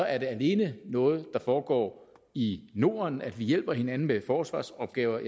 er det alene noget der foregår i norden altså at vi hjælper hinanden med forsvarsopgaver